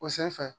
O senfɛ